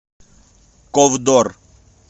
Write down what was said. ковдор